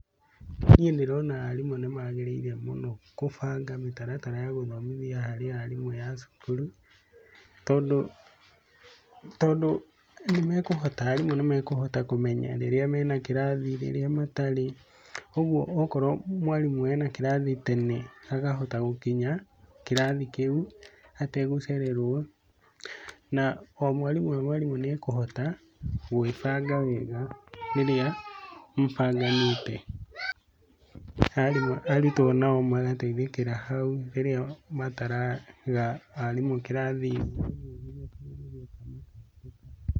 Niĩ ndĩrona arimũ nĩ magĩrĩire mũno gũbanga mĩtaratara ya gũthomithia harĩ arimũ ya cukuru, tondũ nĩ mekũhota, arimũ nĩ mekũhota kũmenya rĩrĩa mena kĩrathi rĩrĩa matarĩ, ũguo okorwo mwarimũ ena kĩrathi tene, akahota gũkinya kĩrathi kĩu ategũcererwo, na o mwarimũ o mwarimũ nĩ ekũhota gwĩbanga wega rĩrĩa mũbanganĩte. Arutwo nao magateithĩkĩra hau rĩrĩa mataraga arimũ kĩrathi